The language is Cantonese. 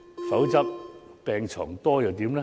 否則，病床多又如何？